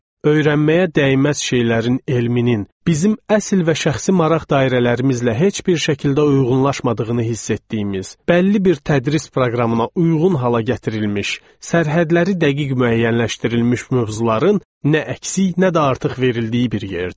Öyrənməyə dəyməz şeylərin elminin, bizim əsl və şəxsi maraq dairələrimizlə heç bir şəkildə uyğunlaşmadığını hiss etdiyimiz, bəlli bir tədris proqramına uyğun hala gətirilmiş, sərhədləri dəqiq müəyyənləşdirilmiş mövzuların nə əksik, nə də artıq verildiyi bir yerdir.